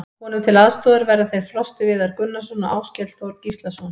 Honum til aðstoðar verða þeir Frosti Viðar Gunnarsson og Áskell Þór Gíslason.